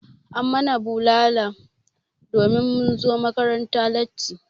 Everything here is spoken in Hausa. An yi mana bulala domin mun zo makaranta latti.